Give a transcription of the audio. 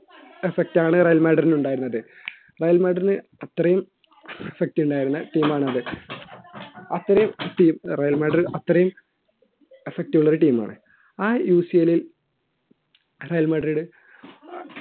effect ആണ് Real മാഡ്രില്‍ ഉണ്ടായിരുന്നത് റയൽ മാഡ്രിഡിന് അത്രയും effect ഉണ്ടായിരുന്ന team ആണത് അത്രയും team റയൽമാഡ്രിടിനു അത്രയും effect ഉള്ള ഒരു team മാണ് ആ UCL ൽ റയൽ മാഡ്രിഡ്